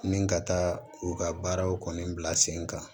Ni ka taa u ka baaraw kɔni bila sen kan